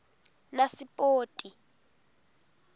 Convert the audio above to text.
nasipoti